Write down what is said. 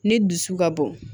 Ni dusu ka bon